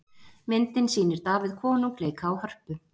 Myndin sýnir Davíð konung leika á hörpu.